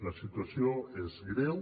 la situació és greu